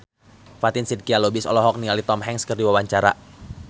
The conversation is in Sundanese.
Fatin Shidqia Lubis olohok ningali Tom Hanks keur diwawancara